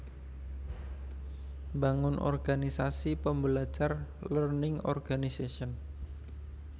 Mbangun organisasi pembelajar Learning Organization